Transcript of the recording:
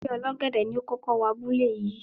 Ẹgbẹ́ Ọlọ́gẹ̀dẹ̀ ni ó kókó wọ abúlé yìí.